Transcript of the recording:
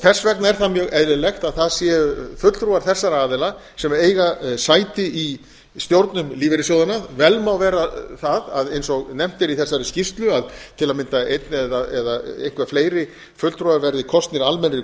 þess vegna er það dag eðlilegt að það séu fulltrúar þessara aðila sem eiga sæti í stjórnum lífeyrissjóðanna vel má vera það eins og nefnt er í þessari skýrslu að til að mynda einn eða eitthvað fleiri fulltrúar verði kosnir almennri